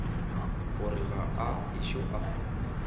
gore ga a ešo a